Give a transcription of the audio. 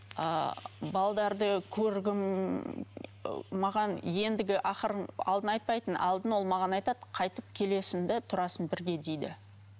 ыыы көргім ы маған ендігі ақырын алдын айтпайтын алдын ол маған айтады қайтып келесің де тұрасың бірге дейді